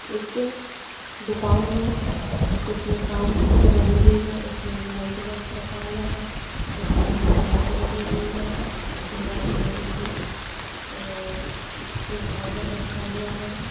एक दुकान है जिसमे काच की बनी हुई है इसमे एक लंच बॉक्स रखा हुआ है एक एलईडी लाईट लगी हुई है दीवार मे एक ईश अ इ स्टेबिलायझर रखा हुआ है।